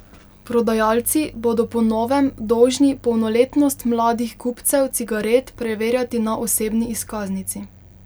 Prodajalci bodo po novem dolžni polnoletnost mladih kupcev cigaret preverjati na osebni izkaznici.